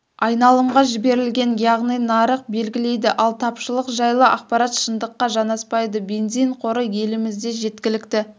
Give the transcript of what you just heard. айналымға жіберілген яғни нарық белгілейді ал тапшылық жайлы ақпарат шындыққа жанаспайды бензин қоры елімізде жеткілікті